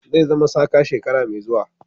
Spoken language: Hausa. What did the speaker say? Zai zama saka shekara mai zuwa.